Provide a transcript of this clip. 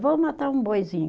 Vamos matar um boizinho.